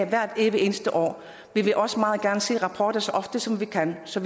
hvert evige eneste år vil vi også meget gerne se nogle rapporter så ofte som vi kan så